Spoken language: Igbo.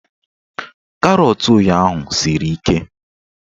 Karọt ụnyaahụ siri ike